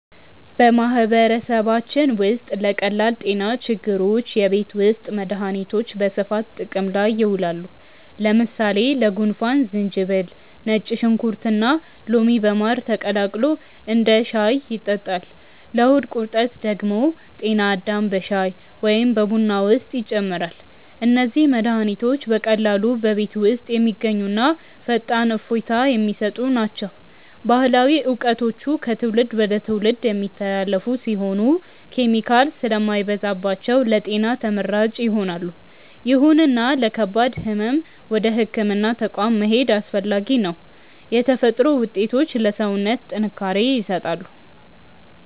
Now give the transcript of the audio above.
በማህበረሰባችን ውስጥ ለቀላል ጤና ችግሮች የቤት ውስጥ መድሃኒቶች በስፋት ጥቅም ላይ ይውላሉ። ለምሳሌ ለጉንፋን ዝንጅብል፣ ነጭ ሽንኩርትና ሎሚ በማር ተቀላቅሎ እንደ ሻይ ይጠጣል። ለሆድ ቁርጠት ደግሞ ጤና አዳም በሻይ ወይም በቡና ውስጥ ይጨመራል። እነዚህ መድሃኒቶች በቀላሉ በቤት ውስጥ የሚገኙና ፈጣን እፎይታ የሚሰጡ ናቸው። ባህላዊ እውቀቶቹ ከትውልድ ወደ ትውልድ የሚተላለፉ ሲሆኑ፣ ኬሚካል ስለማይበዛባቸው ለጤና ተመራጭ ይሆናሉ። ይሁንና ለከባድ ህመም ወደ ህክምና ተቋም መሄድ አስፈላጊ ነው። የተፈጥሮ ውጤቶች ለሰውነት ጥንካሬ ይሰጣሉ።